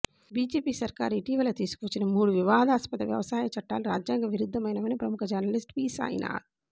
BJP సర్కారు ఇటీవల తీసుకువచ్చిన మూడు వివాదాస్పద వ్యవసాయ చట్టాలు రాజ్యాంగ విరుద్ధమైనవని ప్రముఖ జర్నలిస్ట్ పి సాయినాథ్